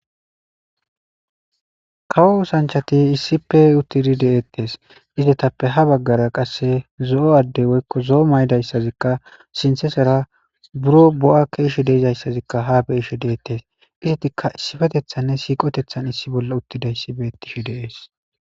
Kawo oosanchchathi issippe uththidi de7eeththes; izathappe ha baggaara qassi zo7o addee woykko zo7o mayida isazikka sinththathera biroo bo7aa keeshi de7izayssazikka haa be7ishee beeththes; izathikka issipetheththanne siiqotheththan issi bolla uththizayssi beeththishe de7ees.